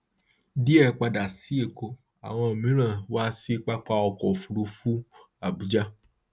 díẹ padà sí èkó àwọn mìíràn wá sí pápá ọkọ òfuurufú abuja